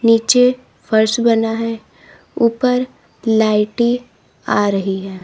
नीचे फर्श बना है ऊपर लाइटें आ रही हैं।